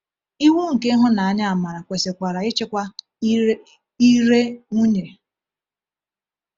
Iwu nke ịhụnanya-amara kwesịkwara ịchịkwa ire ire nwunye.